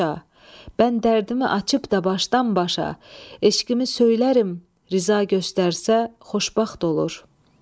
Mən dərdimi açıb da başdan başa, eşqimi söyləyərəm, riza göstərsə xoşbəxt olur.